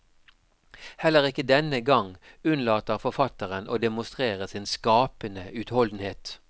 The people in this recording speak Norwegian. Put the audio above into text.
Heller ikke denne gang unnlater forfatteren å demonstrere sin skapende utholdenhet.